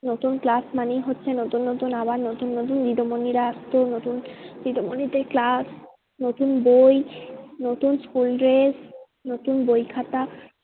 নতুন class মানেই হচ্ছে নতুন নতুন আবার নতুন নতুন দিদি মনিরা আসতো নতুন দিদি মনিদের class নতুন বই, নতুন school dress নতুন বই খাতা